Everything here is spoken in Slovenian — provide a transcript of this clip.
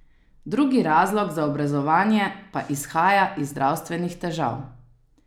Drugi razlog za obrezovanje pa izhaja iz zdravstvenih težav.